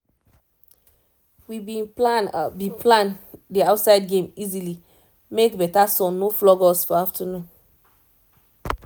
we bin plan bin plan the outside game easily make better sun no flog us for afternoon